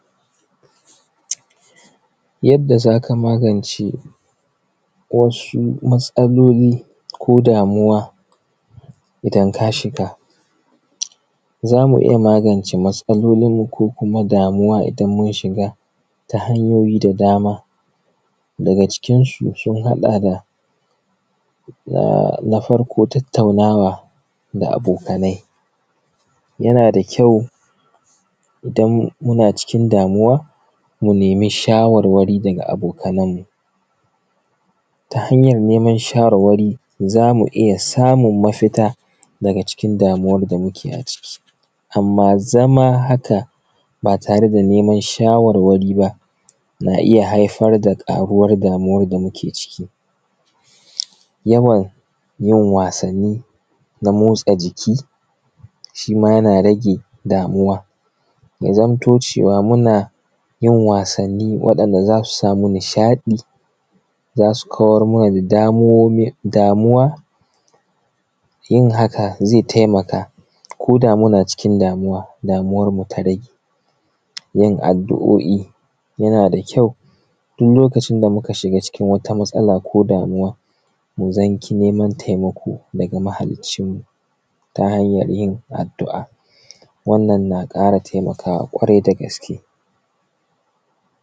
Yadda zaka magance wasu matsaloli ko damuwa idan kashiga, zamu iyya magance matsalolin mu ko damuwa idan mun shiga ta hanyoyi da dama dagacikinsu sun haɗa da a. na farko tattaunawa da abokai yanada kayau idan kuna cikin damuwa mu nemi shawarwari daga abokanan mu. Hanyan neman shawarwari zamu iyya samun mafita daga cikin damuwar da muke a ciki, amma zama haka ba tareda neman shawarwari ba za’a iyya haifar da ƙaaruwan damuwar da muke ciki. Yawan yin wasanni na motsa jiki shima yana rage damuwa, ya zamto cewa munayin wassani waɗan da zasu samu nishaɗi yana kawar mana da damuwa yin haka zai taimaka zai taimaka koda muna cikin damuwa, damuwan mu taɗai yin addu’oi yanada kyau duk lokacin da muka shiga cikin wata matsala ko damuwa zanki neman taimako daga ma haliccin mu ta hanyan yin addu’a wannan na ƙara taimakawa kwarai da gaske.